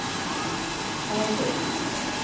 Harbo